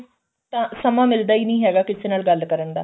ਤਾਂ ਸਮਾਂ ਮਿਲਦਾ ਈ ਨਹੀਂ ਹੈਗਾ ਕਿਸੇ ਨਾਲ ਗੱਲ ਕਰਨ ਦਾ